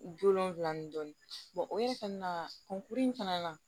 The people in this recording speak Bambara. Don wolonfila ni dɔɔnin o ye kɔnia kunkurunin fana na